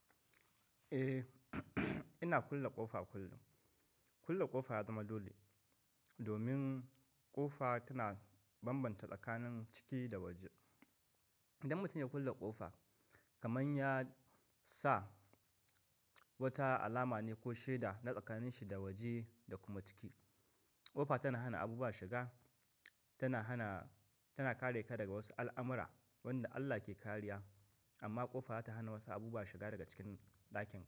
Eh, ina kulle ƙofa kullum. Kulle ƙofa ya zama dole domin ƙofa tana bambanta tsakanin ciki da waje. Idan mutum ya kulle ƙofa, kamar ya sa wata alama ne ko shaida na tsakanin shi da waje da kuma ciki. Ƙofa tana hana abubuwa shiga, tana hana, tana kare ka daga wasu al'amura wanda Allah ke kariya. Amma ƙofa za ta hana wasu abubuwa shiga daga cikin ɗakin ka.